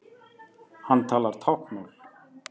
Hann talar táknmál.